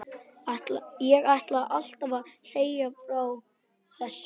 Ég ætlaði alltaf að segja þér frá þessu.